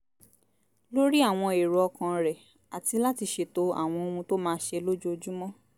lórí àwọn èrò ọkàn rẹ̀ àti láti ṣètò àwọn ohun tó máa ṣe lójoojúmọ́